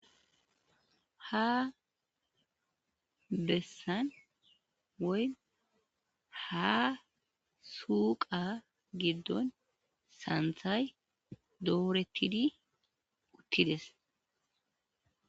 ha bessan woy ha suqa giddon santhay doorettidi uttides